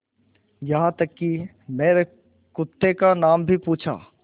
यहाँ तक कि मेरे कुत्ते का नाम भी पूछा